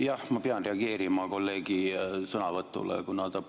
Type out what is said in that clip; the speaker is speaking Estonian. Jah, ma pean reageerima kolleegi sõnavõtule, kuna ta